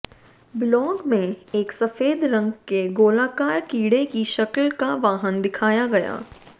blog में एक सफेद रंग के गोलाकार कीडे की शक्ल का वाहन दिखाया गया